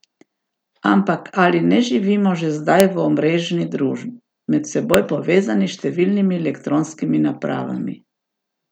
Ampak ali ne živimo že zdaj v omreženi družbi, med seboj povezani s številnimi elektronskimi napravami?